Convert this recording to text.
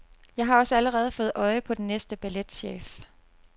Jeg har også allerede fået øje på den næste balletchef.